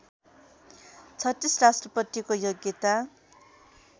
३६ राष्ट्रपतिको योग्यता